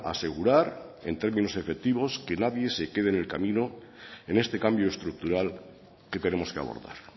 a asegurar que en términos efectivos que nadie se quede en el camino en este cambio estructural que tenemos que abordar